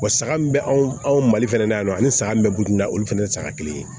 Wa saga min bɛ anw anw mali fɛnɛ na yan nɔ ani saga min bɛ gudon na olu fana ye saga kelen ye